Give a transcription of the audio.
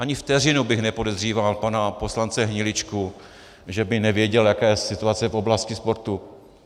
Ani vteřinu bych nepodezříval pana poslance Hniličku, že by nevěděl, jaká je situace v oblasti sportu.